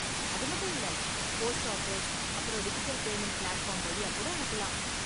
அது மட்டும் இல்ல, போஸ்ட் ஆஃபீஸ் அப்பறம் டிஜிட்டல் பேமண்ட் பிளாட்ஃபார்ம் வழியா கூட அனுப்பலாம்.